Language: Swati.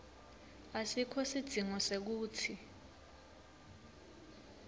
asikho sidzingo sekutsi